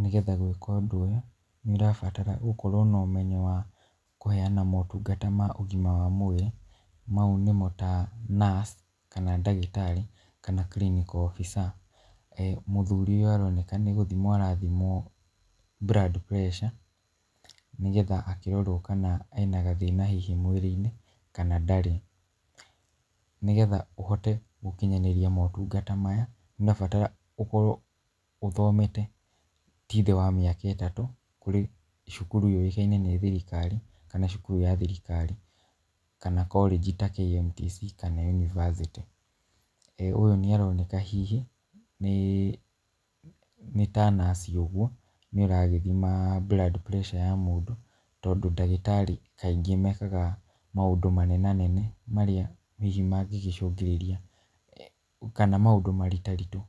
Nĩgetha gwĩka ũndũ ũyũ, nĩ ũrabatara gũkorwo na ũmenyo wa kũheyana motungata ma ũgima wa mwĩrĩ, mau nĩmo ta nurse kana ndagĩtarĩ, kana clinical officer, eeh mũthuri ũyũ aroneka nĩ gũthimwo arathimwo blood pressure , nĩgetha akĩrorwo kana ena gathĩna hihi mwĩrĩ-inĩ kana ndarĩ, nĩgetha ũhote gũkinyanĩria motungata maya nĩ ũrabatara gũkorwo ũthomete ti thĩ wa mĩaka ĩtatũ kũrĩ cukuru yũĩkaine nĩ thirikari kana cukuru ya thirikari, kana korĩnji ta KMTC kana yunibacĩtĩ, ũyũ nĩ aroneka hihi nĩ ta nurse ũguo nĩ aragĩthima blood pressure ya mũndũ , tondũ ndagĩtarĩ aingĩ mekaga maũndũ manenanene marĩa hihi mangĩgĩcũngĩrĩria, kana maũndũ maritaritũ